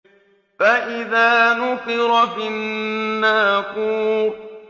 فَإِذَا نُقِرَ فِي النَّاقُورِ